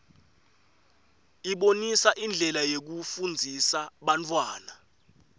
ibonisa indlela yekufundzisa bantfwana